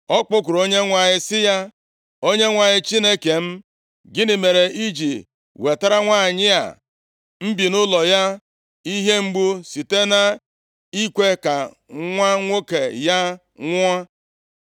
Ọ kpọkuru Onyenwe anyị sị ya, “ Onyenwe anyị Chineke m, gịnị mere i ji wetara nwanyị a m bi nʼụlọ ya ihe mgbu site nʼikwe ka nwa nwoke ya nwụọ?”